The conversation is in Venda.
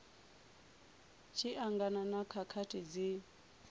tshi angana na khakhathi dzi